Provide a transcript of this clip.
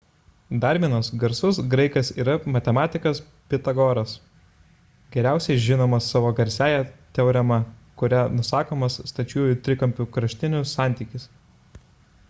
dar vienas garsus graikas yra matematikas pitagoras geriausiai žinomas savo garsiąja teorema kuria nusakomas stačiųjų trikampių kraštinių santykis